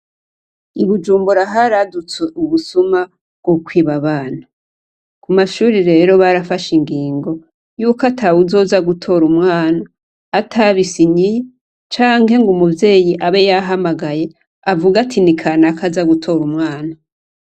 Igujumburaharadutswe ubusuma go kwibabana ku mashuri rero barafashe ingingo yuko ata wuzoza gutora umwana atabisa inyiye canke ngo umuvyeyi abe yahamagaye avugatini kana ko aza gutora umwana.